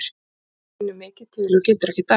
Hann finnur mikið til og getur ekkert æft.